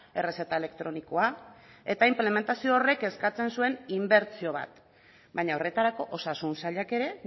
errezeta elektronikoa eta inplementazio horrek eskatzen zuen inbertsio bat baina horretarako osasun sailak ere